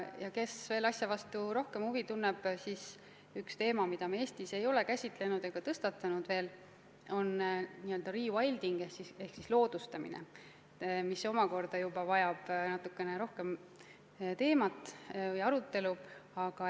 Kui keegi asja vastu rohkem huvi tunneb, siis üks teema, mida me Eestis ei ole veel käsitlenud ega tõstatanud, on n-ö rewilding ehk siis loodustamine, mis vajab natukene rohkem arutelu.